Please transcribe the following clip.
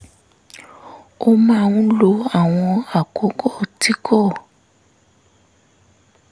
ó máa ń lo àwọn àkókò tí kò